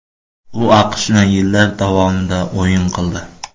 U AQShni yillar davomida o‘yin qildi.